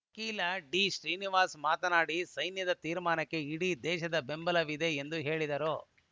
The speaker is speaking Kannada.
ವಕೀಲ ಡಿಶ್ರೀನಿವಾಸ್‌ ಮಾತನಾಡಿ ಸೈನ್ಯದ ತೀರ್ಮಾನಕ್ಕೆ ಇಡೀ ದೇಶದ ಬೆಂಬಲವಿದೆ ಎಂದು ಹೇಳಿದರು